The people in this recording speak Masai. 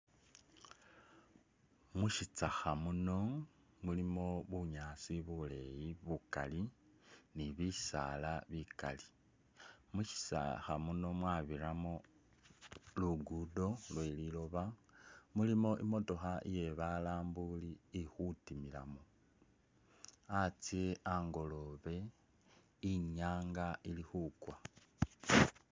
Mushitsakha muno mulimo bunyaasi buleyi bukali ni bisala bikali ,mushitsakha muno mwabiramo lugudo lwe liloba mulimo imotoka iye balambuli ikhutimilamo ,atse angolobe ,inyanga ili khukwa.